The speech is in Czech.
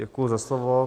Děkuji za slovo.